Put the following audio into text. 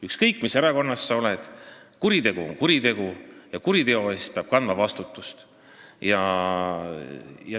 Ükskõik mis erakonnast sa oled, kuritegu on kuritegu ja kuriteo eest peab kandma vastutust.